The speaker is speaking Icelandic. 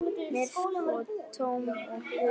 Myrk og tóm og blind.